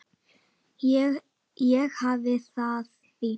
Ég hafði það fínt.